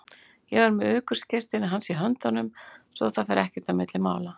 Ég var með ökuskírteinið hans í höndunum svo að það fer ekkert á milli mála.